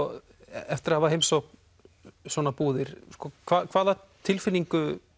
eftir að hafa heimsótt svona búðir hvaða tilfinningu